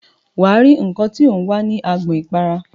Wà á rí nnkan tí ò ń wá ní agbọn ìpara.